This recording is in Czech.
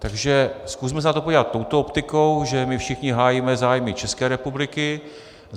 Takže zkusme se na to podívat touto optikou, že my všichni hájíme zájmy České republiky.